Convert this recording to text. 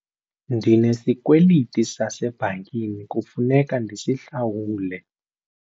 Ndinesikweliti sasebhankini kufuneka ndisihlawule.